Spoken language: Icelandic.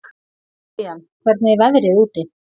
Vivian, hvernig er veðrið úti?